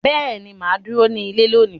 Beeni, maa duro ni ile loni.